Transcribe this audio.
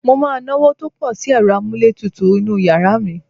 Mo máa náwó tó pọ̀ sí ẹ̀rọ-amúlétutu inú yàrá mi.